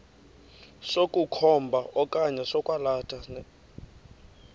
sokukhomba okanye sokwalatha